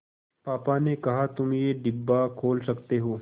पापा ने कहा तुम ये डिब्बा खोल सकते हो